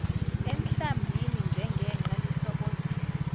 emhlambini njengenqe lisobozela